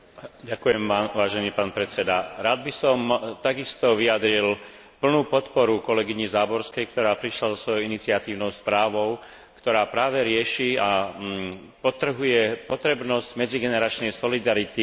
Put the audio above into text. Rád by som takisto vyjadril úplnú podporu kolegyni Záborskej, ktorá prišla so svojou iniciatívnou správou, ktorá práve rieši a podčiarkuje potrebnosť medzigeneračnej solidarity medzi jednotlivými členmi rodiny.